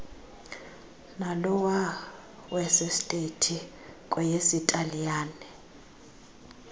nalowa wesestethi kweyesitaliyane